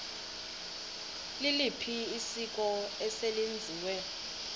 liliphi isiko eselenziwe